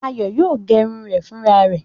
Ayọ̀ yóò gẹrun rẹ̀ fúnra rẹ̀.